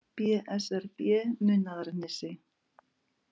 BSRB Munaðarnesi